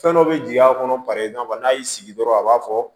Fɛn dɔ bɛ jigin a kɔnɔ i n'a fɔ n'a y'i sigi dɔrɔn a b'a fɔ